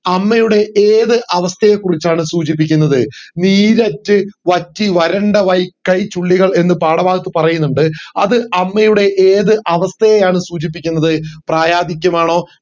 അമ്മയുടെ ഏത് അവസ്ഥയെ കുറിച്ചാണ് സൂചിപ്പിക്കുന്നത് നീരറ്റ് വറ്റി വരണ്ട വൈ കൈചുള്ളികൾ എന്ന് പാഠഭാഗത്ത് പറയുന്നുണ്ട്‌ അത് അമ്മയുടെ ഏത് അവസ്ഥയെയാണ് സൂചിപ്പിക്കുന്നത് പ്രായാധിക്യമാണോ